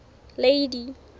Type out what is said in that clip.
lady